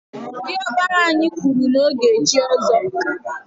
Diọkpara anyị kwụrụ na ọ ga echi ọzọ.